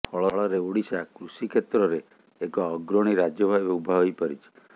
ଫଳରେ ଓଡ଼ିଶା କୃଷି କ୍ଷେତ୍ରରେ ଏକ ଅଗ୍ରଣୀ ରାଜ୍ୟ ଭାବେ ଉଭା ହୋଇ ପାରିଛି